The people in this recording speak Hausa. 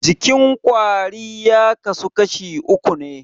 Jikin kwari ya kasu kashi uku ne.